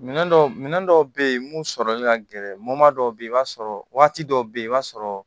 Minɛn dɔw minɛ dɔw bɛ yen mun sɔrɔli ka gɛlɛn dɔw bɛ ye i b'a sɔrɔ waati dɔw bɛ yen i b'a sɔrɔ